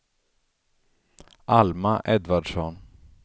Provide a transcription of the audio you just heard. Alma Edvardsson